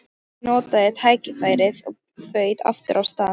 Ég notaði tækifærið og þaut aftur af stað.